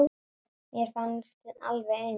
Mér fannst þið alveg eins.